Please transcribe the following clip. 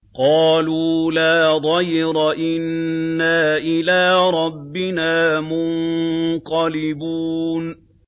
قَالُوا لَا ضَيْرَ ۖ إِنَّا إِلَىٰ رَبِّنَا مُنقَلِبُونَ